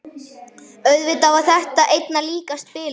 Auðvitað var þetta einna líkast bilun.